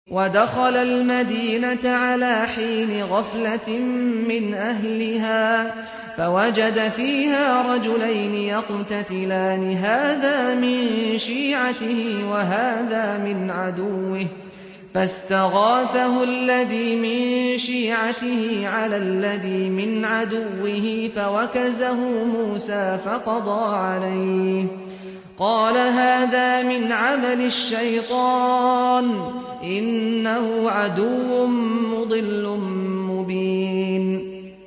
وَدَخَلَ الْمَدِينَةَ عَلَىٰ حِينِ غَفْلَةٍ مِّنْ أَهْلِهَا فَوَجَدَ فِيهَا رَجُلَيْنِ يَقْتَتِلَانِ هَٰذَا مِن شِيعَتِهِ وَهَٰذَا مِنْ عَدُوِّهِ ۖ فَاسْتَغَاثَهُ الَّذِي مِن شِيعَتِهِ عَلَى الَّذِي مِنْ عَدُوِّهِ فَوَكَزَهُ مُوسَىٰ فَقَضَىٰ عَلَيْهِ ۖ قَالَ هَٰذَا مِنْ عَمَلِ الشَّيْطَانِ ۖ إِنَّهُ عَدُوٌّ مُّضِلٌّ مُّبِينٌ